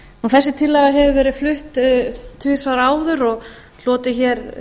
þessi tillaga hefur verið flutt tvisvar áður og hlotið hér